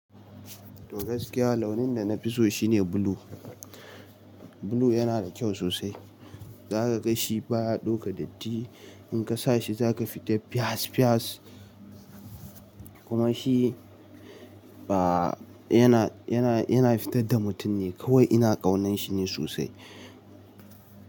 Toh gaskiya launin da na fi so shine blue. Blue yana da kyau sosai. Zaka gashi ba ya dauka datti. In ka sa shi zaka fita fiyass fiyass. Kuma shi ba yana, yana, yana fitar da mutum ne kawai. Ina ƙaunan shi ne sosai.